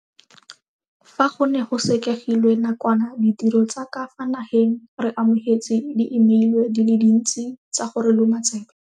Fa go ne go sekegilwe na kwana ditiro tsa ka fa nageng re amogetse diimeile di le dintsi tsa go re loma tsebe.